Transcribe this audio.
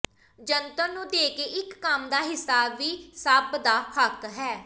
ਜੰਤਰ ਨੂੰ ਦੇ ਇੱਕ ਕੰਮ ਦਾ ਹਿੱਸਾ ਵੀ ਸਭ ਦਾ ਹੱਕ ਹੈ